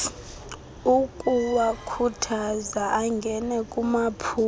ukuwakhuthaza angene kumaphulo